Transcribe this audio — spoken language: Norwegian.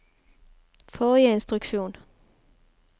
forrige instruksjon